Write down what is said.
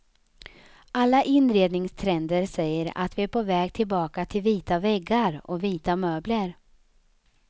Alla inredningstrender säger att vi är på väg tillbaka till vita väggar och vita möbler.